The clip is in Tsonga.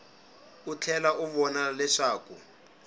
u tlhela u vona leswaku